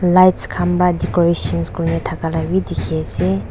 lights khan pa decorations kurithaka labi dikhiase.